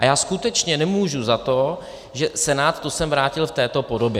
A já skutečně nemůžu za to, že Senát to sem vrátil v této podobě.